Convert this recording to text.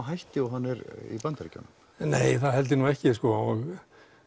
hætti og í Bandaríkjunum nei það held ég nú ekki og